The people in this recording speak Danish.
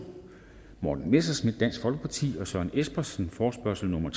morten messerschmidt og søren espersen forespørgsel nummer